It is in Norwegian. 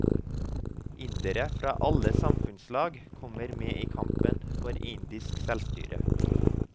Indere fra alle samfunnslag kommer med i kampen for indisk selvstyre.